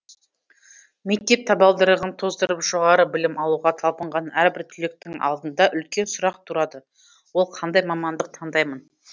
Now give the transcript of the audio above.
мектеп табалдырығын тоздырып жоғары білім алуға талпынған әрбір түлектің алдында үлкен сұрақ тұрады ол қандай мамандық таңдаймын